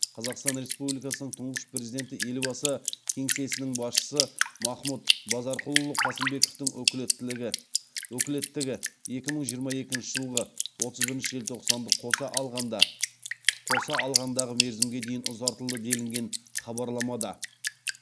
қазақстан республикасының тұңғыш президенті елбасы кеңсесінің басшысы махмұд базарқұлұлы қасымбековтің өкілеттігі екі мың жиырма екінші жылғы отыз бірінші желтоқсанды қоса алғандағы мерзімге дейін ұзартылды делінген хабарламада